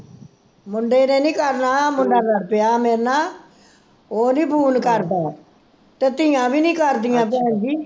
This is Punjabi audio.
ਮੁੰਡੇ ਨੇ ਨੀ ਕਰਨਾ, ਮੁੰਡਾ ਲੜ੍ਹ ਪਿਆ ਮੇਰੇ ਨਾਲ, ਉਹ ਨੀ ਫੋਨ ਕਰਦਾ, ਤੇ ਧੀਆਂ ਵੀ ਨੀ ਕਰਦੀਆਂ ਭੈਣਜੀ